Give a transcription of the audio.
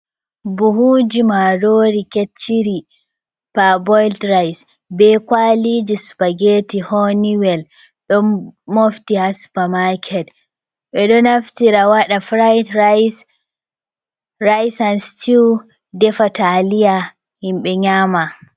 Muhuji marori kecciri parboiled rice, be kwaliji spageti honey well, ɗon mofti ha super market, ɓe ɗo naftira waɗa fried rice, rice and stew, defa taliya himɓe nyama.